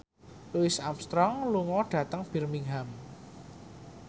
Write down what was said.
Louis Armstrong lunga dhateng Birmingham